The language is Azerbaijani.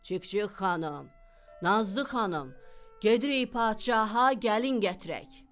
"Çik-çik xanım, Nazlı xanım, gedirik padşaha gəlin gətirək."